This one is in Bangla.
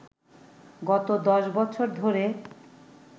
গত ১০ বছর ধরে